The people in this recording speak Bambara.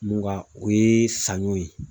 Mun ka o ye saɲɔ ye